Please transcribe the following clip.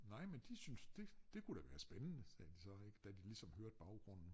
Nej men de synes det det kunne da være spændende sagde de så ikke da de ligesom hørte baggrunden